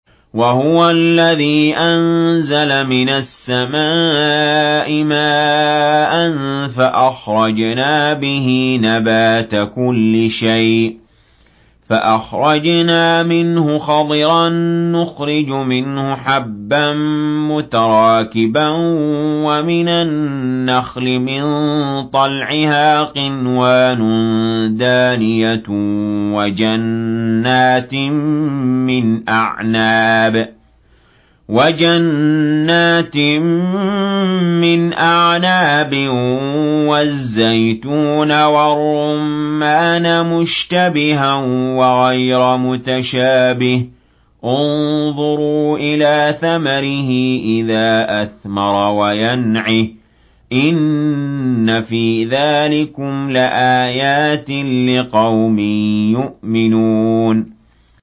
وَهُوَ الَّذِي أَنزَلَ مِنَ السَّمَاءِ مَاءً فَأَخْرَجْنَا بِهِ نَبَاتَ كُلِّ شَيْءٍ فَأَخْرَجْنَا مِنْهُ خَضِرًا نُّخْرِجُ مِنْهُ حَبًّا مُّتَرَاكِبًا وَمِنَ النَّخْلِ مِن طَلْعِهَا قِنْوَانٌ دَانِيَةٌ وَجَنَّاتٍ مِّنْ أَعْنَابٍ وَالزَّيْتُونَ وَالرُّمَّانَ مُشْتَبِهًا وَغَيْرَ مُتَشَابِهٍ ۗ انظُرُوا إِلَىٰ ثَمَرِهِ إِذَا أَثْمَرَ وَيَنْعِهِ ۚ إِنَّ فِي ذَٰلِكُمْ لَآيَاتٍ لِّقَوْمٍ يُؤْمِنُونَ